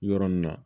Yɔrɔ nin na